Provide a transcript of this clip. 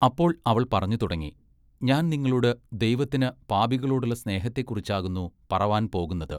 അപ്പോൾ അവൾ പറഞ്ഞു തുടങ്ങി ഞാൻ നിങ്ങളോട് ദൈവത്തിന് പാപികളോടുള്ള സ്നേഹത്തെക്കുറിച്ചാകുന്നു പറവാൻ പോകുന്നത്.